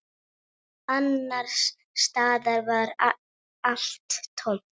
Annars staðar var allt tómt.